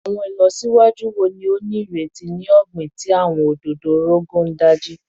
Awọn ilọsiwaju wo ni o nireti ni ogbin ti awọn ododo Rogon Daji?